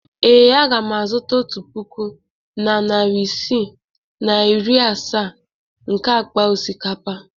Ee, aga m azụta otu puku na narị ise na iri asaa nke akpa osikapa.